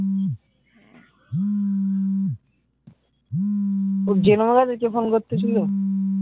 ওহ জেনেও গেছে কে ফোন করতেছিলো?